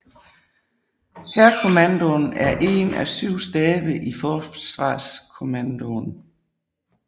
Hærkommandoen er én af syv stabe i Forsvarskommandoen